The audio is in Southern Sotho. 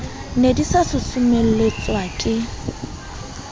ne di sa susumeletswa ke